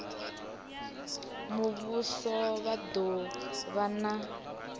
muvhuso vha do vha na